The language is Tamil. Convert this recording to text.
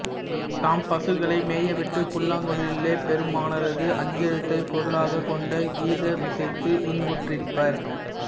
தாம் பசுக்களை மேயவிட்டு புல்லாங்குழலிலே பெருமானரது அஞ்செழுத்தைப் பொருளாகக் கொண்ட கீதமிசைத்து இன்புற்றிருபபர்